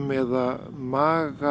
eða maga